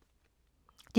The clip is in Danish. DR2